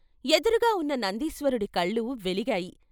ఎదురుగా ఉన్న నందీశ్వరుడి కళ్ళు వెలిగాయి.